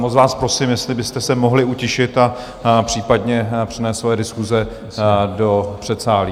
Moc vás prosím, jestli byste se mohli utišit a případně přenést své diskuse do předsálí.